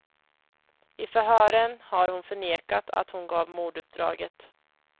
I förhören har hon förnekat att hon gav morduppdraget.